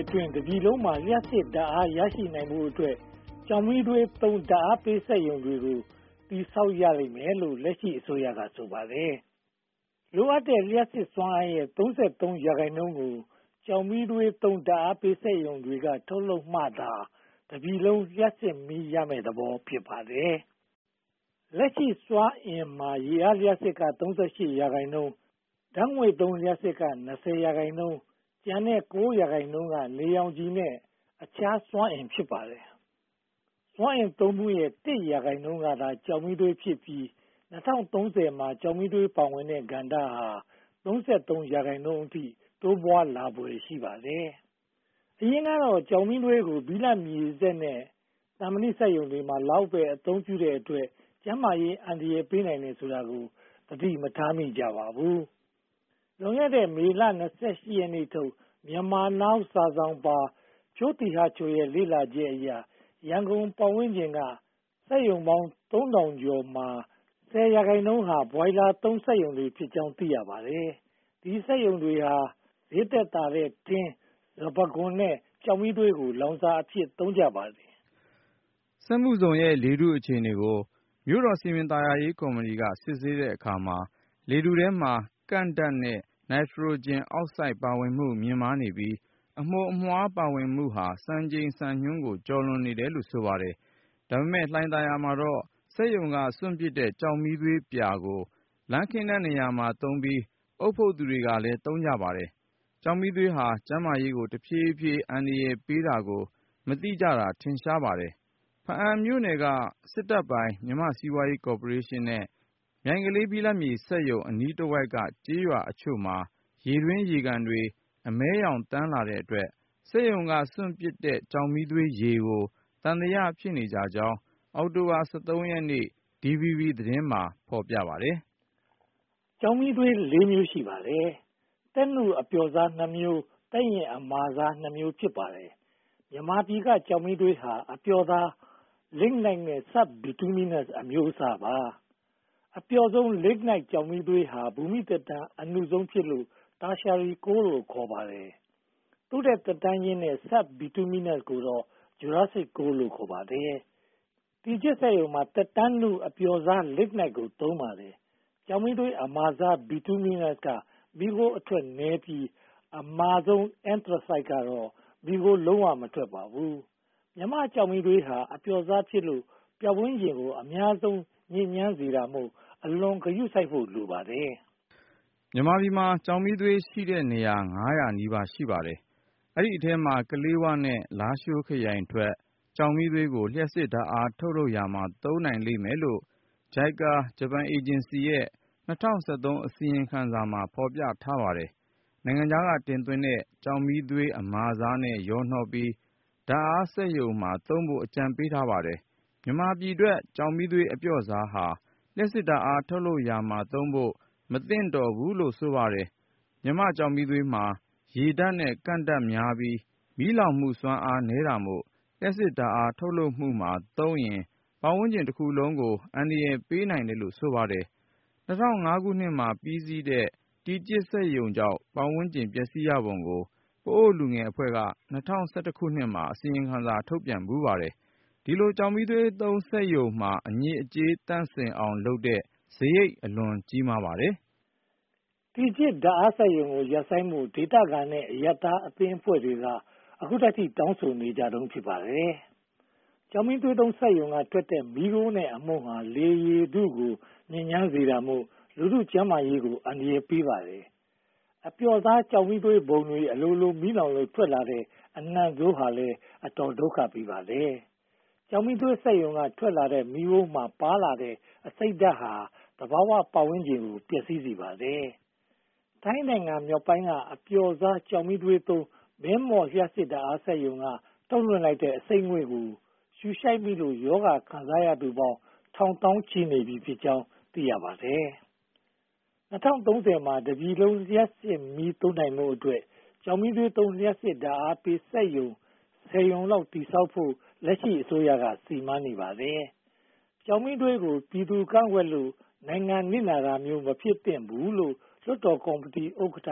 အတွင်း တပြည်လုံးမှာ လျှပ်စစ်ဓါတ်အား ရရှိနိုင်ဖို့အတွက် ကျောက်မီးသွေး ဓါတ်အားပေးစက်ရုံတွေကို တည်ဆောက်ရမယ်လို့ လက်ရှိအစိုးရက ဆိုပါတယ်။ လိုအပ်တဲ့လျှပ်စစ်စွမ်းအင်ရဲ့ (၃၃) ရာခိုင်နှုန်းကို ကျောက်မီးသွေးသုံး ဓါတ်အားပေးစက်ရုံတွေက ထုတ်လုပ်နိုင်မှသာ တပြည်လုံးလျှပ်စစ်မီးရမယ့်သဘော ဖြစ်ပါတယ်။ လက်ရှိစွမ်းအင်မှာ ရေအားလျှပ်စစ်က (၃၈) ရာခိုင်နှုန်း၊ ဓါတ်ငွေ့သုံးလျှပ်စစ်က (၂၀) ရာခိုင်နှုန်း၊ ကျန်တဲ့ (၉) ရာခိုင်နှုန်းက နေရောင်ခြည်နဲ့ အခြားစွမ်းအင် ဖြစ်ပါတယ်။ စွမ်းအင်သုံးစွဲမှုရဲ့ (၁) ရာခိုင်နှုန်းကသာ ကျောက်မီးသွေးဖြစ်ပြီး (၂၀၃၀) မှာ ကျောက်မီးသွေးပါဝင်တဲ့ကဏ္ဍဟာ (၃၃) ရာခိုင်နှုန်းအထိ တိုးပွားလာဖွယ် ရှိပါတယ်။ အရင်ကတော့ ကျောက်မီးသွေးကို ဘိလပ်မြေစက်နဲ့ သံမဏီစက်ရုံတွေလောက်မှာပဲ အသုံးပြုတဲ့အတွက် ကျန်းမာရေးအန္တရာယ်ပေးနိုင်တယ်ဆိုတာကို သတိမထားကြပါဘူး။ လွန်ခဲ့တဲ့ မေလ (၂၈) ရက်နေ့ထုတ် Myanmar Now စာစောင်ပါ "ဖြိုးသီဟချို" ရဲ့ လေ့လာချက်အရ ရန်ကုန်ပတ်ဝန်းကျင်က စက်ရုံပေါင်း (၃၄၇၄) ရုံမှာ (၁၀) ရာခိုင်နှုန်းဟာ ဘွိုင်လာသုံးစက်ရုံတွေဖြစ်ကြောင်း သိရပါတယ်။ ဒီစက်ရုံတွေဟာ ဈေးသက်သာတဲ့ ထင်း၊ စပါးခွံနဲ့ ကျောက်မီးသွေးတို့ကို လောင်စာအဖြစ် သုံးကြပါတယ်။ စက်မှုဇုန်ရဲ့ လေထုအခြေအနေကို မြို့တော်စည်ပင်သာယာရေးကော်မီက စစ်ဆေးတဲ့အခါမှာ လေထုထဲမှာ ကန့်ဓါတ်နဲ့ နိုက်ထရိုဂျင်အောက်ဆိုဒ်ပါဝင်မှု မြင့်မားနေပြီး အမှုန်အမွှားပါဝင်မှုဟာ စံချိန်စံညွှန်းကို ကျော်လွှာနေတယ်လို့ ဆိုပါတယ်။ ဒါပေမဲ့ လှိုင်သာယာမှာတော့ စက်ရုံကစွန့်ပစ်တဲ့ ကျောက်မီးသွေးပြာကို လမ်းခင်းတဲ့နေရာမှာသုံးသလို အုတ်ဖုတ်သူတွေကလည်း သုံးကြပါတယ်။ ကျောက်မီးသွေးပြာဟာ ကျန်းမာရေးကို တဖြည်းဖြည်း အန္တရာယ်ပေးတာကို မသိကြတာ ထင်ရှားပါတယ်။ ဘားအံ့မြို့နယ်က စစ်တပ်ပိုင်မြန်မာ့စီးပွားရေးကော်ပိုရေးရှင်းရဲ့ မြိုင်ကလေးဘိလပ်မြေစက်ရုံ အနီးတဝိုက်က ကျေးရွာအချို့မှာ ရေတွင်း၊ ရေကန်တွေ အမည်းရောင်သန်းလာတဲ့အတွက် စက်ရုံကစွန့်ပစ်တဲ့ ကျောက်မီးသွေးရေကို သံသယဖြစ်နေကြကြောင်း အောက်တိုဘာ (၁၃) ရက်နေ့က DVB သတင်းမှာ ဖော်ပြပါတယ်။ ကျောက်မီးသွေး (၄) မျိုး ရှိပါတယ်။ သက်နုအပျော့စား (၂) မျိုး၊ သက်ရင့်အမာစား (၂) မျိုးတို့ ဖြစ်ပါတယ်။ မြန်မာပြည်က ကျောက်မီးသွေးဟာ အပျော့စား Lignite နဲ့ sub-Bituminous အမျိုးအစားတွေ ဖြစ်ပါတယ်။ အပျော့စား Lignite ကျောက်မီးသွေးဟာ ဘူမိသက်တမ်း အနုဆုံးဖြစ်လို့ Tertiary Coal လို့ ခေါ်ပါတယ်။ သူ့ထက်သက်တမ်းရင့်တဲ့ sub-Bituminous ကိုတော့ Jurassic Coal လို့ ခေါ်ပါတယ်။ တီကျစ်စက်ရုံမှာ သက်တမ်းနုအပျော့စား Lignite ကို သုံးပါတယ်။ ကျောက်မီးသွေးအမာစား Bituminous က မီးခိုးအထွက်နည်းပြီး အမာဆုံး Anthracite ကတော့ မီးခိုး လုံးဝမထွက်ပါဘူး။ မြန်မာ့ကျောက်မီးသွေးဟာ အပျော့စားဖြစ်လို့ ပတ်ဝန်းကျင်ကို အများဆုံးညစ်ညမ်းစေတာမို့ အလွန်ဂရုစိုက်ဖို့ လိုပါတယ်။ မြန်မာပြည်မှာ ကျောက်မီးသွေးရှိတဲ့နေရာ (၅၀၀) နီးပါး ရှိပါတယ်။ ဒီအထဲမှာ ကလေးဝနဲ့ လားရှိုးခရိုင်ထွက် ကျောက်မီးသွေးကို လျှပ်စစ်ဓါတ်အား ထုတ်လုပ်ရာမှာ သုံးနိုင်လိမ့်မယ်လို့ JICA ဂျပန်အေဂျင်စီရဲ့ ၂၀၁၃ အစီရင်ခံစာမှာ ဖော်ပြထားပါတယ်။ နိုင်ငံခြားကတင်သွင်းတဲ့ ကျောက်မီးသွေးအမာစားနဲ့ ရောနှောပြီး ဓါတ်အားစက်ရုံမှာသုံးဖို့ အကြံပေးထားပါတယ်။ မြန်မာပြည်ထွက် ကျောက်မီးသွေးအပျော့စားဟာ လျှပ်စစ်ဓါတ်အားထုတ်လုပ်ရာမှာသုံးဖို့ မသင့်တော်ဘူးလို့ ဆိုပါတယ်။ မြန်မာ့ကျောက်မီးသွေးမှာ ရေဓါတ်နဲ့ကန့်ဓါတ်များပြီး မီးလောင်မှုစွမ်းအင်နည်းတာမို့ လျှပ်စစ်ဓါတ်အားထုတ်လုပ်ရာမှာသုံးရင် ပတ်ဝန်းကျင်တခုလုံးကို အန္တရာယ်ပေးနိုင်တယ်လို့ ဆိုပါတယ်။ ၂၀၀၅ မှာ ပြီးစီးတဲ့ တီကျစ်စက်ရုံကြောင့် ပတ်ဝန်းကျင်ပျက်စီးရပုံကို ပအို့ဝ်လူငယ်အဖွဲ့က (၂၀၁၁) မှာ အစီရင်ခံစာ ထုတ်ခဲ့ဖူးပါတယ်။ ဒီလိုကျောက်မီးသွေးစက်ရုံမှာ အညစ်အကြေးသန့်စင်အောင်လုပ်တဲ့စရိတ် အလွန်ကြီးမားပါတယ်။ တီကျစ်ဓါတ်အားစက်ရုံကို ရပ်ဆိုင်းဖို့ ဒေသခံနဲ့ အရပ်သားအဖွဲ့အစည်းတွေက အခုထိ တောင်းဆိုနေတုန်း ဖြစ်ပါတယ်။ ကျောက်မီးသွေးစက်ရုံကထွက်တဲ့ မီးခိုးနဲ့အမှုန်တွေဟာ လေရေထုကို ညစ်ညမ်းစေတာမို့ လူထုကျန်းမာရေးကို အန္တရာယ်ပေးပါတယ်။ အပျော့စားကျောက်မီးသွေးပုံတွေ အလိုလိုမီးလောင်လို့ ထွက်လာတဲ့ အနံဆိုးဟာ အတော်လေးဒုက္ခပေးပါတယ်။ ကျောက်မီးသွေးစက်ရုံကထွက်တဲ့ မီးခိုးမှာပါလာတဲ့ အဆိပ်ဓါတ်ဟာ သဘာဝပတ်ဝန်းကျင်ကို ပျက်စီးစေပါတယ်။ ထိုင်းနိုင်ငံမြောက်ပိုင်းက အပျော့စားကျောက်မီးသွေးသုံး မဲမော့လျှပ်စစ်ဓါတ်အားစက်ရုံက ထုတ်လွှင့်လိုက်တဲ့ အဆိပ်ငွေ့ကို ရှုရှိုက်မိလို့ ရောဂါခံစားရသူပေါင်း ထောင်သောင်းချီနေပြီးဖြစ်ကြောင်း သိရပါတယ်။ ၂၀၃၀ မှာ တပြည်လုံးလျှပ်စစ်မီးသုံးနိုင်ဖို့အတွက် ကျောက်မီးသွေးသုံး လျှပ်စစ်ဓါတ်အားပေးစက်ရုံပေါင်း (၁၀) ရုံလောက် တည်ဆောက်ဖို့ လက်ရှိအစိုးရက စီမံနေပါတယ်။ ကျောက်မီးသွေးကို ပြည်သူတွေကန့်ကွက်လို့ နိုင်ငံနစ်နာတာမျိုး မဖြစ်သင့်ဘူးလို့ လွှတ်တော်ကော်မတီဥက္ကဋ္ဌ